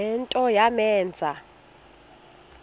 le nto yamenza